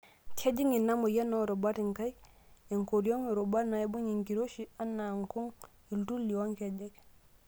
Kejing' ina moyia oorubat inkaik, ekoriong',rubat naibung' enkiroshi anaa nkung',iltuli o nkejek.